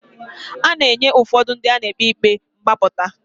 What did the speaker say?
A na-enye ụfọdụ ndị a na-ekpe ikpe mgbapụta.